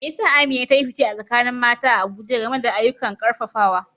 Me yasa Amina ta yi fice a tsakanin mata a Abuja game da ayyukan karfafawa?